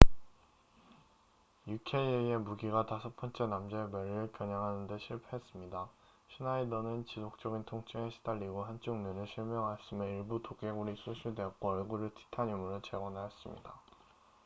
uka의 무기가 다섯 번째 남자의 머리를 겨냥하는데 실패했습니다 슈나이더는 지속적인 통증에 시달리고 한쪽 눈을 실명하였으며 일부 두개골이 소실되었고 얼굴을 티타늄으로 재건하였습니다